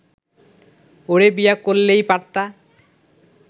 ওরে বিয়া করলেই পারতা